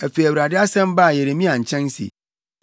Afei Awurade asɛm baa Yeremia nkyɛn se,